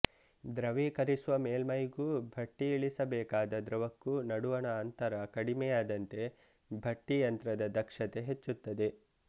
ದ್ರವೀಕರಿಸುವ ಮೇಲ್ಮೈಗೂ ಭಟ್ಟಿಇಳಿಸಬೇಕಾದ ದ್ರವಕ್ಕೂ ನಡುವಣ ಅಂತರ ಕಡಿಮೆಯಾದಂತೆ ಭಟ್ಟಿಯಂತ್ರದ ದಕ್ಷತೆ ಹೆಚ್ಚುತ್ತದೆ